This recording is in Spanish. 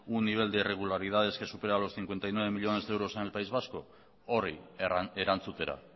un nivel de regularidades que supera los cincuenta y nueve millónes de euros en el país vasco horri erantzutera